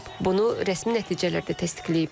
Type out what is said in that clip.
Bunu rəsmi nəticələr də təsdiqləyib.